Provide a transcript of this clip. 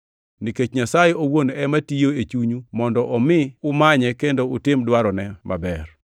nikech Nyasaye owuon ema tiyo e chunyu mondo omi umanye kendo utim dwarone maber.